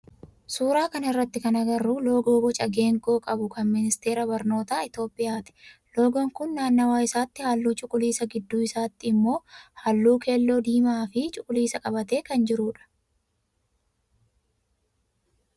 Suuraa kana irratti kan agarru loogoo boca geengoo qabu kan ministeera barnootaa Itiyoophiyaati. Loogoon kun naannawa isaatii halluu cuquliisa gidduu isaatii immoo halluu keelloo diimaa fi cuquliisa qabatee kan jirudha